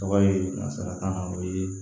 Tɔgɔ ye nansarakan na o ye